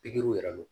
Pikiriw yɛrɛ don